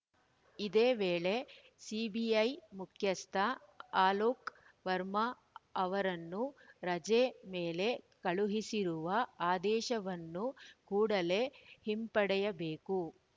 ಇದೇ ವೇಳೆ ಸಿಬಿಐ ಮುಖ್ಯಸ್ಥ ಅಲೋಕ್‌ ವರ್ಮಾ ಅವರನ್ನು ರಜೆ ಮೇಲೆ ಕಳುಹಿಸಿರುವ ಆದೇಶವನ್ನು ಕೂಡಲೇ ಹಿಂಪಡೆಯಬೇಕು